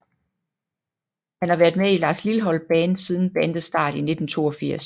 Han har været med i Lars Lilholt Band siden bandets start i 1982